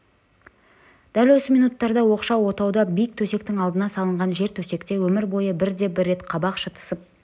дәл осы минуттарда оқшау отауда биік төсектің алдына салынған жертөсекте өмір бойы бірде-бір рет қабақ шытысып